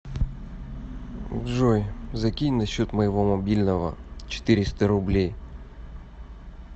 джой закинь на счет моего мобильного четыреста рублей